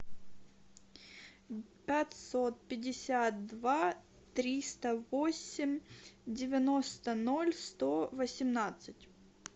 пятьсот пятьдесят два триста восемь девяносто ноль сто восемнадцать